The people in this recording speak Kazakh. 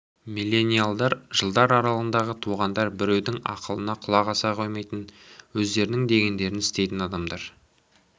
миллениалдар жылдар аралығында туғандар біреудің ақылына құлақ аса қоймайтын өздерінің дегендерін істейтін адамдар